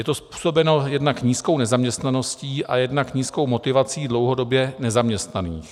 Je to způsobeno jednak nízkou nezaměstnaností a jednak nízkou motivací dlouhodobě nezaměstnaných.